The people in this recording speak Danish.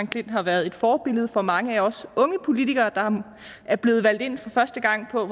klint har været et forbillede for mange af os unge politikere der er blevet valgt ind for første gang på